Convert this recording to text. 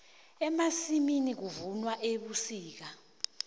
emasimini kuvunwa ebusika